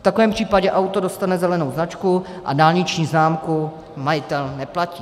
V takovém případě auto dostane zelenou značku a dálniční známku majitel neplatí.